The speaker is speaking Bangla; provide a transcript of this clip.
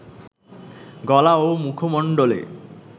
গলা ও মুখমণ্ডলে